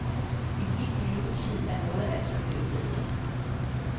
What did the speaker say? I min levetid er noget altså blevet bedre.